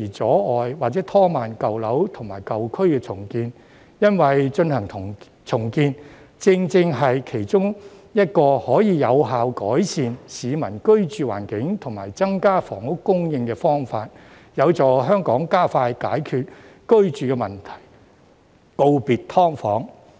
而阻礙或拖慢舊樓及舊區重建，因為進行重建，正正是其中一個可以有效改善市民居住環境及增加房屋供應的方法，有助香港加快解決居住問題，告別"劏房"。